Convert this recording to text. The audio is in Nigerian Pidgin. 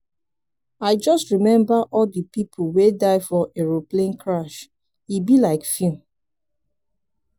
i just remember all the people wey die for aeroplane crash e be like film.